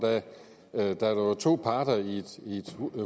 da der jo er to parter i et